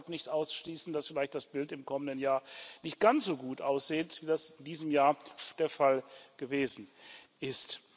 So ist deshalb nicht auszuschließen, dass vielleicht das Bild im kommenden Jahr nicht ganz so gut aussieht, wie das in diesem Jahr der Fall gewesen ist.